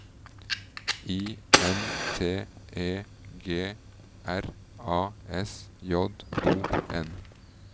I N T E G R A S J O N